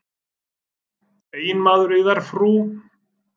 Eiginmaður yðar, frú?